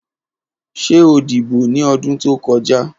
Ṣe o dibo ni ọdun to kọja?